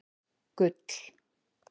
Gull